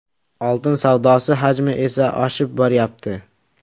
Oltin savdosi hajmi esa oshib boryapti.